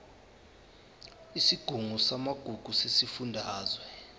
isigungu samagugu sesifundazwe